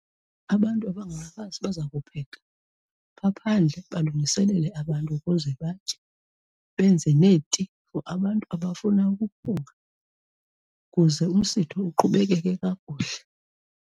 Abantu abangabafazi bazokupheka phaa phandle balungiselele abantu ukuze batye, benze neeti for abantu abafuna ukuphunga, kuze umsitho uqhubekeke kakuhle.